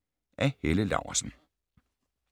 Af Helle Laursen